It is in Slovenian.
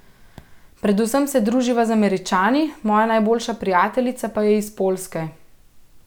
Predvsem se druživa z Američani, moja najboljša prijateljica pa je iz Poljske.